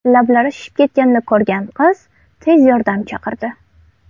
Lablari shishib ketganini ko‘rgan qiz tez yordam chaqirdi.